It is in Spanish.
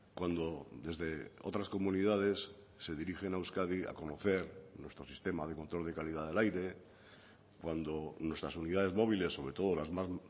cuando desde otras comunidades se dirigen a euskadi a conocer nuestro sistema de control de calidad del aire cuando nuestras unidades móviles sobre todo las más